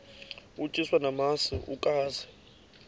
utyiswa namasi ukaze